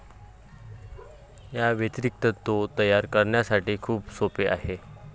याव्यतिरिक्त, तो तयार करण्यासाठी खूप सोपे आहे.